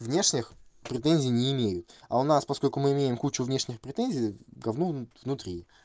внешних претензий не имею а у нас поскольку мы имеем кучу внешних претензий говно внутри